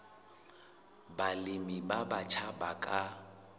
balemi ba batjha ba ka